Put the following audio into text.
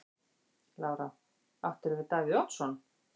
Lára: Áttirðu við Davíð Oddsson?